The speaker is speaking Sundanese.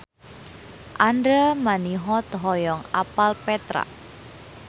Andra Manihot hoyong apal Petra